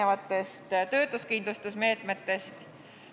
Mis saab töötuskindlustusmeetmetest?